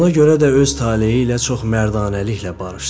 Elə ona görə də öz taleyi ilə çox mərdanəliklə barışdı.